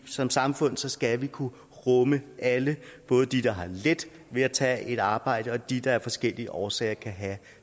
som samfund skal vi kunne rumme alle både de der har let ved at tage et arbejde og de der af forskellige årsager kan have